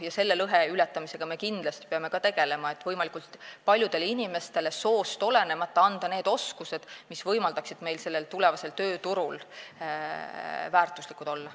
Selle lõhe ületamisega me kindlasti peame ka tegelema, et võimalikult paljudele inimestele soost olenemata anda need oskused, mis võimaldaksid neil tulevasel tööturul väärtuslikud olla.